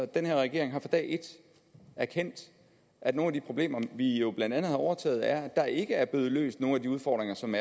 den her regering har fra dag et erkendt at nogle af de problemer vi jo blandt andet har overtaget er at der ikke er blevet løst nogen af de udfordringer som